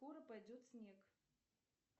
скоро пойдет снег